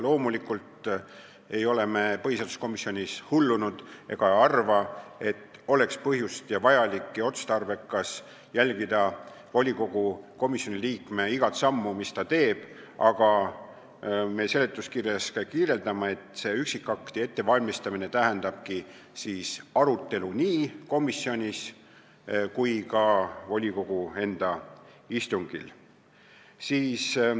Loomulikult ei ole me põhiseaduskomisjonis hullunud ega arva, et oleks põhjust ja otstarbekas jälgida volikogude komisjonide liikmete kõiki samme, mis nad teevad, ja seletuskirjas me selgitame, et see üksikakti ettevalmistamine tähendab arutelu nii komisjonis kui ka volikogu enda istungil.